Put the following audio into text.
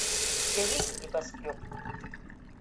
у тебя есть небоскреб